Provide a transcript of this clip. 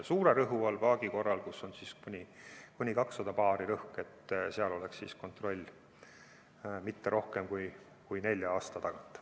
Suure rõhu all paagi korral, kus rõhk on kuni 200 baari, ei oleks kontroll tihemini kui nelja aasta tagant.